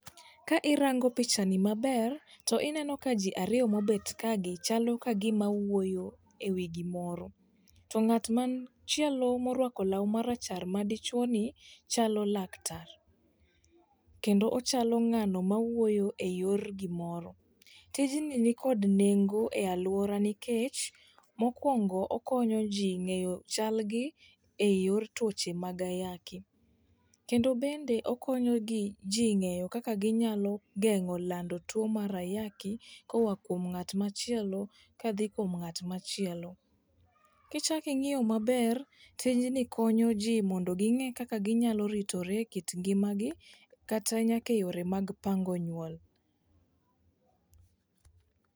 Ka irango picha ni maber to ineno ka jii ariyo mobet kagi chalo kagima wuoyo ewi gimoro .To ng'at machielo morwako law marachar ma dichuo ni chalo laktar kendo ochalo ng'ano mawuoyo e yor gimoro. Tijni nikod nengo e aluora nikech mokwongo okonyo jii ng'eyo chal gi e yor tuoche mag ayaki. Kendo bende okonyo gi jii ng'eyo kaka ginyako geng'o lando tuo mar ayako koa kuom ng'at machiel kadhi kuom ng'at machielo. Kichaki ng'iyo maber tijni konyo jii mondo ging'e kaka ginyalo ritore e kit ngimagi kata nyaka e yore mag pango nyuol.